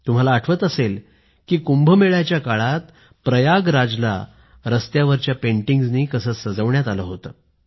तुम्हाला आठवत असेल की कुंभमेळ्याच्या काळात प्रयागराजला रस्त्यावरील पेंटिंग्जनी कसं सजवण्यात आलं होतं